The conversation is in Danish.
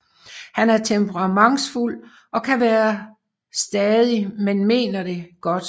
Han er temperamentsfuld og kan være stadig men mener det godt